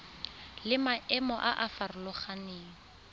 le maemo a a farologaneng